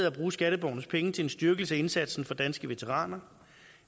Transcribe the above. at bruge skatteborgernes penge til en styrkelse af indsatsen for danske veteraner